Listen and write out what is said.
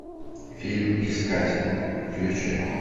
фильм искатели включай